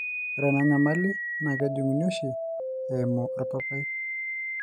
ore ena nyamali naaa kejung'uni oshi eimu orpapai